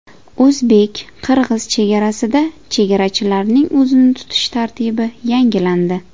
O‘zbek-qirg‘iz chegarasida chegarachilarning o‘zini tutish tartibi yangilandi.